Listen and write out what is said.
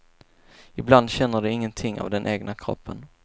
Ibland känner de ingenting av den egna kroppen.